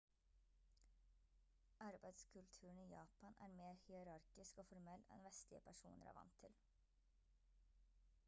arbeidskulturen i japan er mer hierarkisk og formell enn vestlige personer er vant til